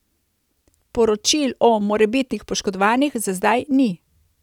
Poročil o morebitnih poškodovanih za zdaj ni.